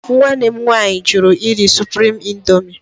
Nwanne m nwaanyị jụrụ iri Supriim Indoomi.